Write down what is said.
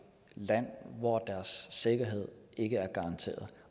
land hvor deres sikkerhed ikke er garanteret